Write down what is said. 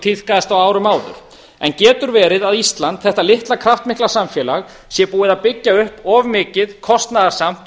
tíðkaðist á árum árum en getur verið að ísland þetta litla kraftmikla samfélag sé búið að byggja upp of mikið kostnaðarsamt